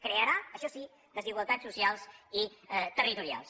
crearà això sí desigualtats socials i territorials